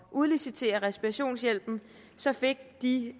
udlicitere respirationshjælpen så fik de